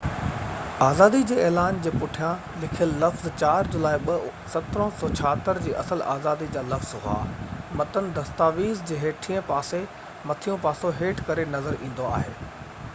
آزادي جي اعلان جي پٺيان لکيل لفظ 4 جولاءِ 1776 جي اصل آزادي جا لفظ هئا متن دستاويز جي هيٺئين پاسي مٿيون پاسو هيٺ ڪري نظر ايندو آهي